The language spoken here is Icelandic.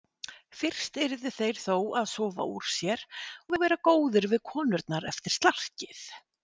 Fyrst yrðu þeir þó að sofa úr sér og vera góðir við konurnar eftir slarkið.